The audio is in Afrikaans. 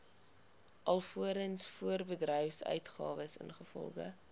alvorens voorbedryfsuitgawes ingevolge